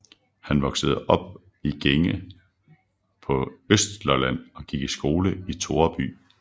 Han voksede op i Grænge på Østlolland og gik i skole i Toreby